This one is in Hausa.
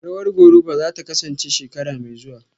Rawar Goruba zata kasance shekara mai zuwa